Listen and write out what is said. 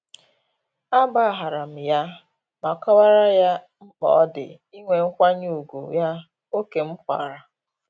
A gbaharam ya ma kọwara ye mkpa odi inwe nkwanye ugwu ye ókè m kwara